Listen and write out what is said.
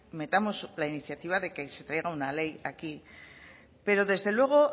metamos la iniciativa de que se traiga una ley aquí pero desde luego